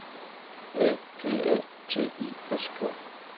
A P A T I S K